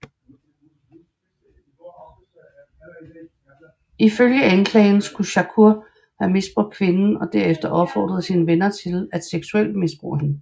Ifølge anklageren skulle Shakur have misbrugt kvinden og derefter opfordrede sine venner til at seksuelt misbruge hende